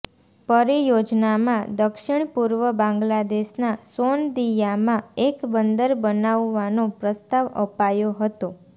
પરિયોજનામાં દક્ષિણ પૂર્વ બાંગ્લાદેશના સોનદિયામાં એક બંદર બનાવવાનો પ્રસ્તાવ અપાયો હતો